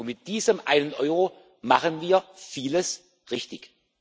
Mit diesem einen Euro machen wir vieles richtig.